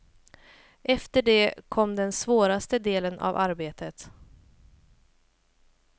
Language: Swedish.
Efter det kom den svåraste delen av arbetet.